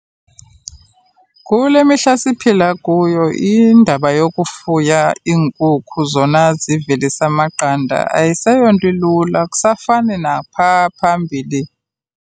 Kule mihla siphila kuyo indaba yokufuya iinkukhu zona zivelisa amaqanda ayiseyonto ilula akusafani naphaa phambili.